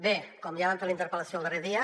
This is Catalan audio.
bé com ja vam fer a la interpel·lació el darrer dia